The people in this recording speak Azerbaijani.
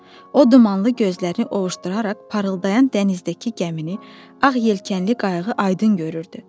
O dumanlı gözləri ovuşduraraq parıldayan dənizdəki gəmini, ağ yelkənli qayığı aydın görürdü.